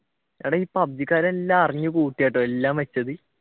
എടാ ഈ പബ്‌ജിക്കാർ എല്ലാം അറിഞ്ഞു കൂട്ടിയിട്ടോ എല്ലാം